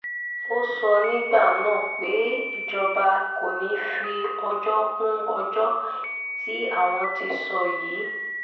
ó sọ nígbà náà pé ìjọba kò ní í fi ọjọ́ kún ọjọ́ tí àwọn ti sọ yìí